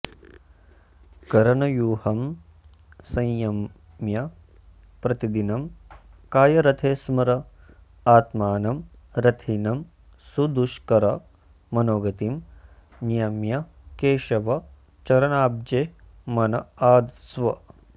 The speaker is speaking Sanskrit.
करणव्यूहं संयम्य प्रतिदिनं कायरथे स्मर आत्मानं रथिनं सुदुष्कर मनोगतिं नियम्य केशव चरणाब्जे मन आधत्स्व